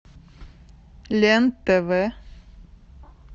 лен тв